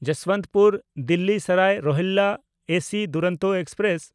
Jaswantpur Delhi Sarai Rohilla AC Duronto express